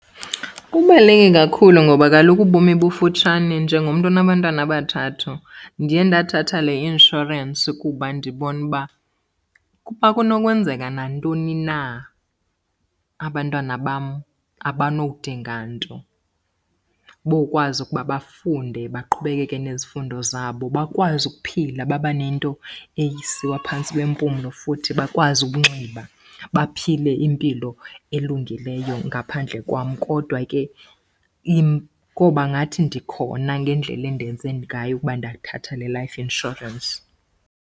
Kubaluleke kakhulu ngoba kaloku ubomi bufutshane. Njengomntu onabantwana abathathu ndiye ndathatha le inshorensi kuba ndibona uba ukuba kunokwenzeka nantoni na abantwana bam abanodinga nto. Bokwazi ukuba bafunde baqhubekeke nezifundo zabo, bakwazi ukuphila baba nento esiwa phantsi kwempumlo, futhi bakwazi ukunxiba, baphile impilo elungileyo ngaphandle kwam. Kodwa ke koba ngathi ndikhona ngendlela endenze ngayo ukuba ndathatha le life insurance.